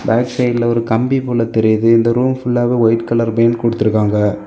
Back சைடுல ஒரு கம்பி போல தெரியுது இந்த ரூம் ஃபுல்லாவே ஒயிட் கலர் பெயிண்ட் கொடுத்திருக்காங்க.